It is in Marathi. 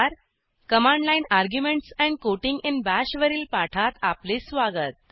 command line arguments and quoting in Bash वरील पाठात आपले स्वागत